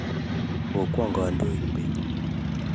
ko kwong' kondait beet